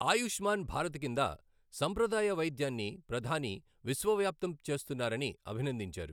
ఆయుష్మాన్ భారత్ కిందసంప్రదాయ వైద్యాన్ని ప్రధాని విశ్వవ్యాప్తం చేస్తున్నారని అభినందించారు.